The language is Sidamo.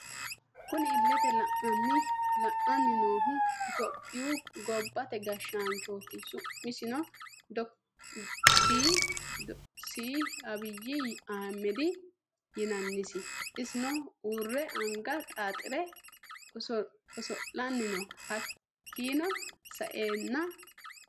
Kunni illete leelani noohu ittoyoopiyu gobbate gashaanchoti su'misino d/c abiyi ahimedi yinannisi isino uurre anga xaaxire osolani no hakiino sa'eena.